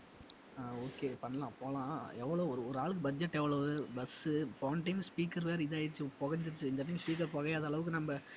ஆஹ் okay பண்ணலாம் போலாம் எவ்வளவு ஒரு~ ஒரு ஆளுக்கு budget எவ்வளவு bus உ போன time speaker வேற இதுவாயிடுச்சு புகைஞ்சிடுச்சி இந்த time speaker புகையாத அளவுக்கு நம்ம